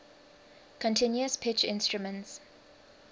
continuous pitch instruments